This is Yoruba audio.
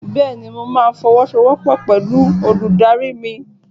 Bẹ́ẹ̀ni, Mo ma fọwọ́sowọ́pọ̀ pẹ̀lú olùdarí mi.